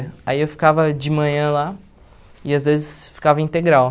Aí eu ficava de manhã lá e às vezes ficava integral.